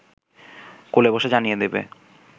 কোলে বসে জানিয়ে দেবে